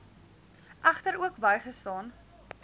egter ook bygestaan